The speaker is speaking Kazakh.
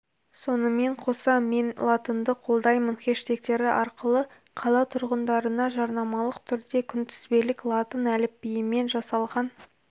сонымен қоса мен латынды қолдаймын хэштегтері арқылы қала тұрғындарына жарнамалық түрде күнтізбелік латын әліпбиімен жасалған